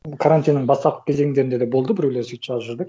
карантиннің бастапқы кезеңдерінде де болды біреулер сөйтіп жазып жүрді